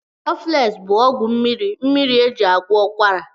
Cọflesị bụ ọgwụ mmiri mmiri eji agwọ ụkwara